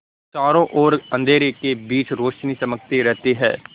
चारों ओर अंधेरे के बीच रौशनी चमकती रहती है